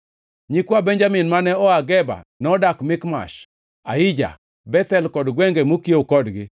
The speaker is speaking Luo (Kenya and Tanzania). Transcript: Nyikwa Benjamin mane oa Geba nodak Mikmash, Aija, Bethel kod gwenge mokiewo kodgi,